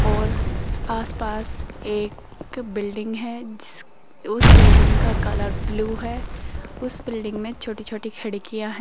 और आसपास एक बिल्डिंग है उसे बिल्डिंग का कलर ब्लू है उसे बिल्डिंग में छोटी छोटी खिड़कियां है।